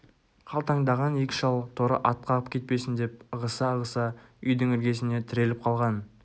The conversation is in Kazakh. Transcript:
қалтаңдаған екі шал торы ат қағып кетпесін деп ығыса-ығыса үйдің іргесіне тіреліп қалған